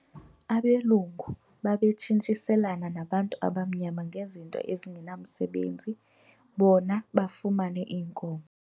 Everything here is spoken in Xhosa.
Abelungu babetshintshiselana nabantu abamnyama ngezinto ezingenamsebenzi bona bafumane iinkomo.